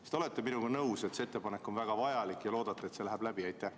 Kas te olete minuga nõus, et see ettepanek on väga vajalik, ja loodate, et see läheb läbi?